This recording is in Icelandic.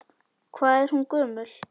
Hvað er hún gömul?